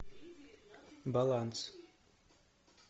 баланс